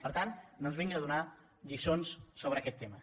per tant no ens vinguin a donar lliçons sobre aquest tema